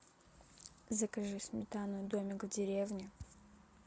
закажи сметану домик в деревне